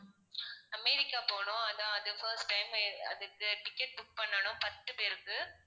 America போகணும் அதான் அது first time அதுக்கு ticket book பண்ணணும் பத்து பேருக்கு.